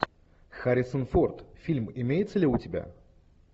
харрисон форд фильм имеется ли у тебя